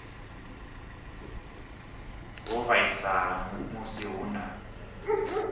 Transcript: vho vhaisala musi hu na